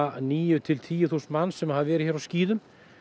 níu til tíu þúsund manns sem hafa verið hér á skíðum